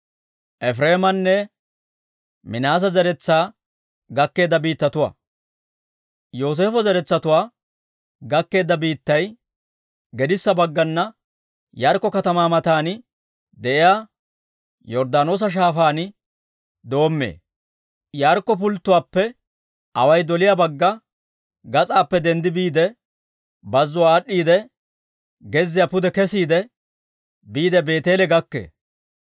Yooseefo zeretsatuwaa gakkeedda biittay gedissa baggana Yaarikko katamaa matan de'iyaa Yorddaanoosa Shaafaan doommee; Yaarikko pulttotuwaappe away doliyaa bagga gas'aappe denddi biide, bazzuwaa aad'd'iidde, gezziyaa pude kesiide, biide Beeteele gakkee.